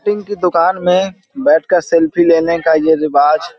team की दुकान में बैैठकर सेल्फी लेने का ये रिवाज --